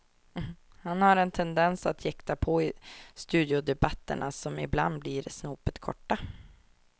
Han har en tendens att jäkta på i studiodebatterna, som ibland blir snopet korta.